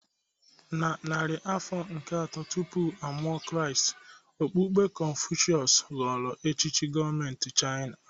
Na narị afọ nke atọ tupu a mụọ Kraịst, okpukpe Kọnfushịọs ghọrọ echiche gọọmentị Chaịna.